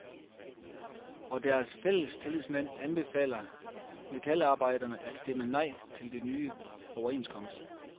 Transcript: Og deres fællestillidsmand anbefaler metalarbejderne at stemme nej til den nye overenskomst.